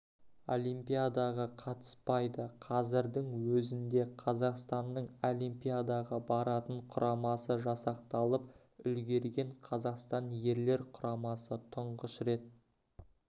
олимпиадаға қатыспайды қазірдің өзінде қазақстанның олимпиадаға баратын құрамасы жасақталып үлгерген қазақстан ерлер құрамасы тұңғыш рет